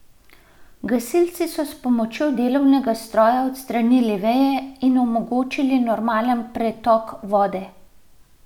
Gasilci so s pomočjo delovnega stroja odstranili veje in omogočili normalen pretok vode.